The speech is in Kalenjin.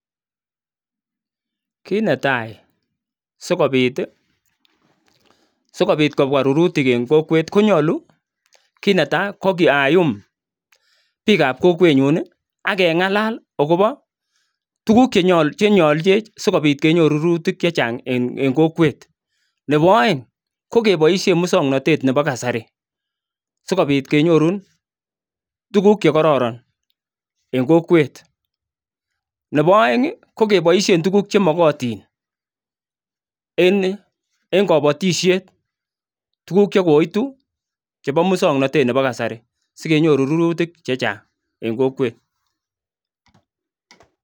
Kit netai sikobit kobwa rurutik eng kokwet konyalu KO kit netai ko ayum pikab kokwet nyun akengalal tukuk chenyoljin sikobit kenyoru rurutik chechang eng kokwet Nebo aeng kokeboishe moswaknatet Nebo kasari sikobit kenyorun tukuk chekororon eng kokwet Nebo aeng kokeboishe tukuk chemagatin en kabatishet tukuk chekoitu chebo muswoknotet Nebo kasari sikenyoru rurutik chechang eng kokwet